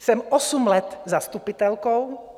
Jsem osm let zastupitelkou.